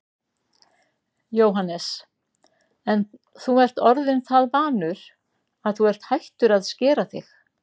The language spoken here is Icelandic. Jóhannes: En þú ert orðinn það vanur að þú ert hættur að skera þig?